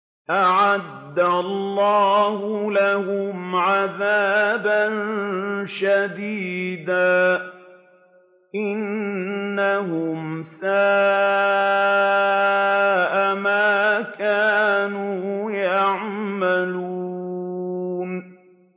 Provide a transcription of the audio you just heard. أَعَدَّ اللَّهُ لَهُمْ عَذَابًا شَدِيدًا ۖ إِنَّهُمْ سَاءَ مَا كَانُوا يَعْمَلُونَ